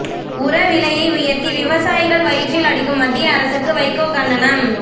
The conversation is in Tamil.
உரவிலையை உயர்த்தி விவசாயிகள் வயிற்றில் அடிக்கும் மத்திய அரசுக்கு வைகோ கண்டனம்